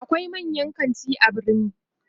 akwai manyan kanti a birni